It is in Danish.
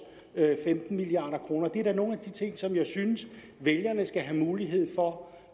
femten milliard kroner det er da nogle af de ting som jeg synes vælgerne skal have mulighed for